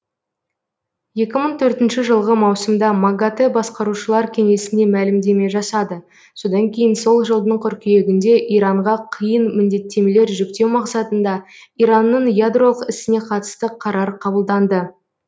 екі мың төртінші жылғы маусымда магатэ басқарушылар кеңесі мәлімдеме жасады содан кейін сол жылдың қыркүйегінде иранға қиын міндеттемелер жүктеу мақсатында иранның ядролық ісіне қатысты қарар қабылданды